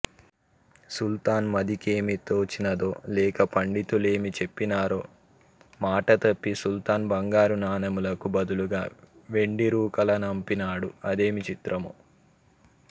సుల్తాన్ మదికేమి తోచినదో లేక పండితులేమి చెప్పినారో మాటతప్పి సుల్తాన్ బంగారునాణెంలకు బదులుగా వెండిరూకలనంపినాడు అదేమి చిత్రమో